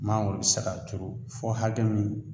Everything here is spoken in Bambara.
Mangoro bi se k'a turu fɔ hakɛ min